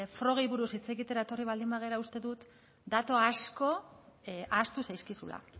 probei buruz hitz egitera etorri baldin badira uste dut datu asko ahaztu zaizkizula